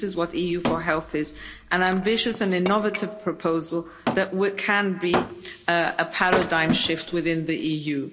This is what EU4Health is an ambitious and innovative proposal that can be a paradigm shift within the EU.